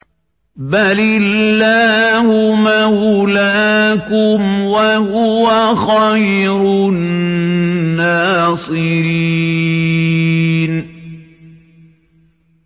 بَلِ اللَّهُ مَوْلَاكُمْ ۖ وَهُوَ خَيْرُ النَّاصِرِينَ